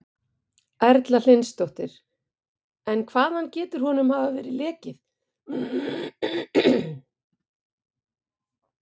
Erla Hlynsdóttir: En hvaðan getur honum hafa verið lekið?